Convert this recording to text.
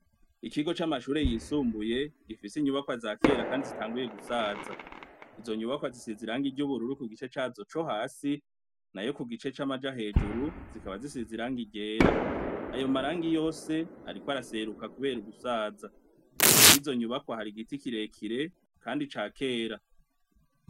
Ikigo c'amashure yisumbuye gifise inyubakwa za kera kandi zitanguye gusaza. Izo nyubakwa zisize irangi ry'ubururu ku gice cazo co hasi nayo ku gice c'amaja hejuru zikaba zisize irangi ryera. Ayo marangi yose ariko araseruka kubera ugusaza. Imbere y'izo nyubakwa hari igiti kirekire, kandi ca kera.